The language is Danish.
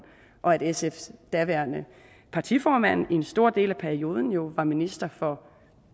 og at sfs daværende partiformand en stor del af perioden jo var minister for